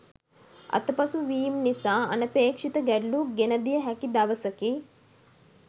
අතපසු වීම් නිසා අනපේක්ෂිත ගැටලු ගෙනදිය හැකි දවසකි